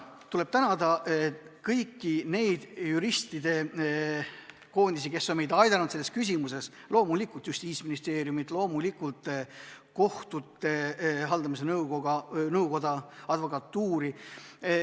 Tuleb tänada kõiki neid juristide ühendusi, kes on meid aidanud selles küsimuses: loomulikult Justiitsministeeriumi, loomulikult kohtute haldamise nõukoda ja advokatuuri.